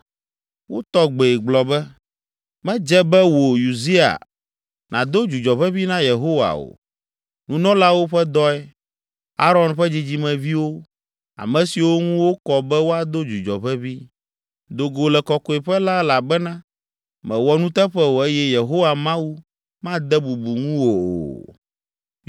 Wotɔ gbee gblɔ be, “Medze be wò, Uzia, nàdo dzudzɔ ʋeʋĩ na Yehowa o. Nunɔlawo ƒe dɔe, Aron ƒe dzidzimeviwo, ame siwo ŋu wokɔ be woado dzudzɔ ʋeʋĩ. Do go le Kɔkɔeƒe la elabena mèwɔ nuteƒe o eye Yehowa Mawu made bubu ŋuwò o.”